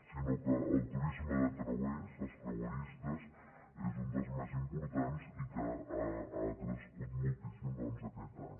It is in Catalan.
sinó que el turisme de creuers els creueristes és un dels més importants i que ha crescut moltíssim aquest any